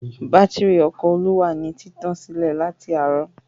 Bátírí ọkọ̀ Olú wà ní títàn sílẹ̀ láti àárọ̀.